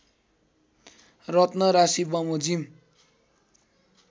रत्न राशिबमोजिम